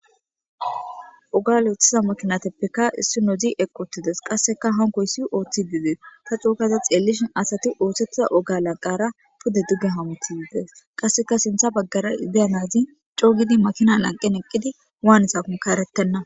Oga luuthiza makinateppekka issi nodzi eqottides qasseka hankoy si ooththi didees ta cookaza xeellishin asati ooththettiza oga lanqara pudde digge hamuti yides qasseka sintha baggara ideya nazin coogidi makina lanqen eqqidi waanisakon kaarettenna.